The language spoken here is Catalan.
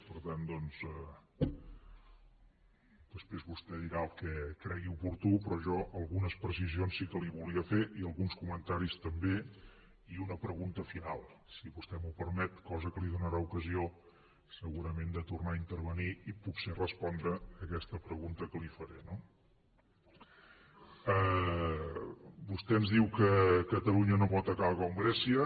per tant doncs després vostè dirà el que cregui oportú però jo algunes precisions sí que li volia fer i alguns comentaris també i una pregunta final si vostè m’ho permet cosa que li donarà ocasió segurament de tornar a intervenir i potser respondre aquesta pregunta que li faré no vostè ens diu que catalunya no pot acabar com grècia